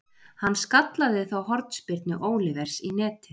Hann skallaði þá hornspyrnu Olivers í netið.